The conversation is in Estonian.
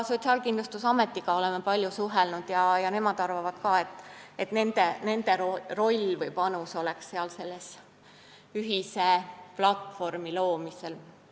Sotsiaalkindlustusametiga oleme samuti palju suhelnud ja nemad arvavad ka, et nende roll või panus võiks olla selle ühise platvormi loomisel.